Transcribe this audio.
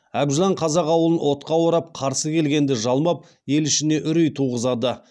әбжылан қазақ ауылын отқа орап қарсы келгенді жалмап ел ішіне үрей туғызады